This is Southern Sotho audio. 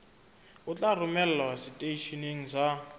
o tla romelwa seteisheneng sa